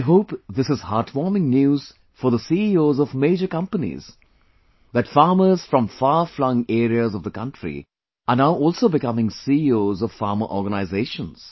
I hope this is heartwarming news for the CEOs of major companies that farmers from far flung areas of the country are now also becoming CEOs of farmer organizations